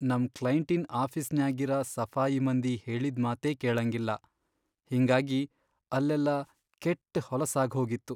ನಂ ಕ್ಲೈಂಟಿನ್ ಆಫೀಸ್ನ್ಯಾಗಿರ ಸಫಾಯಿ ಮಂದಿ ಹೇಳಿದ್ ಮಾತೇ ಕೇಳಂಗಿಲ್ಲಾ ಹಿಂಗಾಗಿ ಅಲ್ಲೆಲ್ಲಾ ಕೆಟ್ ಹೊಲಸಾಗ್ಹೋಗಿತ್ತು .